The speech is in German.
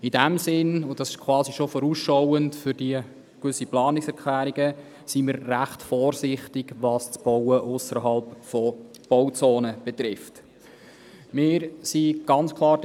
In diesem Sinn, und das schon etwas vorausschauend im Hinblick auf die Planungserklärungen, sind wir recht vorsichtig, was das Bauen ausserhalb der Bauzonen anbelangt.